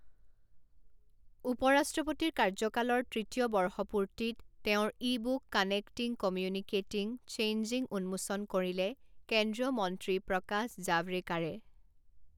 উপ ৰাষ্ট্ৰপতিৰ কাৰ্যকালৰ তৃতীয় বৰ্ষপূৰ্তিত তেওঁৰ e book connecting, communicating, changing উন্মোচন কৰিলে কেন্দ্ৰীয় মন্ত্ৰী প্ৰকাশ জাভড়েকাৰে